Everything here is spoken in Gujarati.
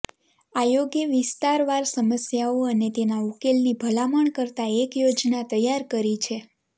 આયોગે વિસ્તારવાર સમસ્યાઓ અને તેના ઉકેલની ભલામણ કરતા એક યોજના તૈયાર કરી છે